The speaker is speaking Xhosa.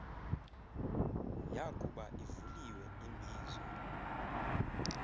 yakuba ivuliwe imbizo